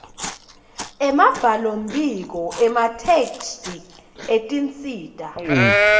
embhalombiko emathektshi etinsita